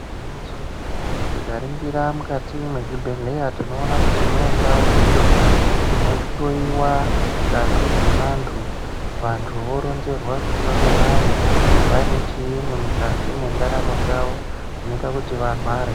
Igwinyiso tikaringira mukati mwezvibhedheya tinoona kuti mune ndau iyo inohloyiwa ngazi dzevantu vantu voronzerwa kuti vangadai vane chiinyi mukati mwendaramo chawo zvinoita kuti varware.